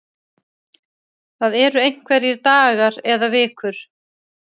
Það eru einhverjir dagar eða vikur